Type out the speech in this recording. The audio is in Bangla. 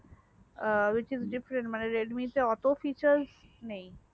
আ witch is different মানে redmi তে oto feture নেই